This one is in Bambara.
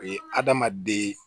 O ye adamaden